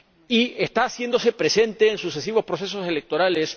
Y está haciéndose presente en sucesivos procesos electorales.